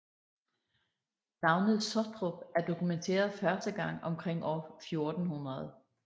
Navnet Sottrup er dokumenteret første gang omkring år 1400